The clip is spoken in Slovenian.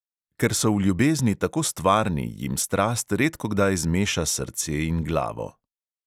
Ker so v ljubezni tako stvarni, jim strast redkokdaj zmeša srce in glavo.